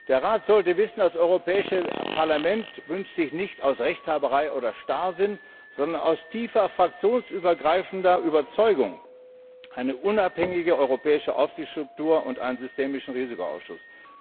Der Rat sollte wissen, das Europäische Parlament wünscht sich nicht aus Rechthaberei oder Starrsinn, sondern aus tiefer, fraktionsübergreifender Überzeugung eine unabhängige europäische Aufsichtsstruktur und einen systemischen Risikoausschuss.